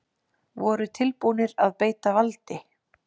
Voru tilbúnir að beita valdi